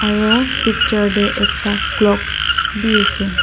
aro picture tey ekta clock bi ase.